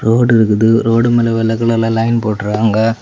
Road இருக்குது road மேல வெள்ளை கலர்ல லைன் போட்ருக்காங்க.